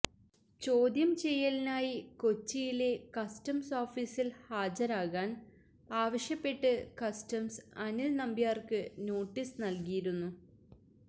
ചോദ്യം ചെയ്യലിനായി കൊച്ചിയിലെ കസ്റ്റംസ് ഓഫീസില് ഹാജരാകാന് ആവശ്യപ്പെട്ട് കസ്റ്റംസ് അനില് നമ്പ്യാര്ക്ക് നോട്ടീസ് നല്കിയിരുന്നു